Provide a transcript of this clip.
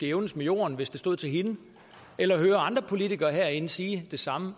jævnes med jorden hvis det stod til hende eller hører andre politikere herinde sige det samme